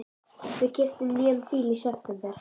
Við keyptum nýjan bíl í september.